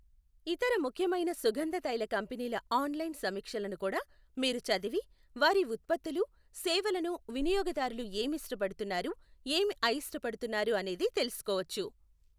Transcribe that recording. ఇతర ముఖ్యమైన సుగంధతైల కంపెనీల ఆన్లైన్ సమీక్షలను కూడా మీరు చదివి, వారి ఉత్పత్తులు, సేవలను వినియోగదారులు ఏమి ఇష్టపడుతున్నారు ఏమి అయిష్టపడుతున్నారు అనేది తెలుసుకోవచ్చ .